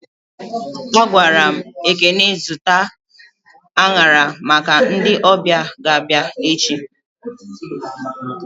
A gwaram Ekene zụta anyara maka ndị ọbịa ga abịa echi